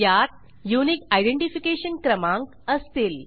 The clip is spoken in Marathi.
यात युनिक आयडेंटिफिकेशन क्रमांक असतील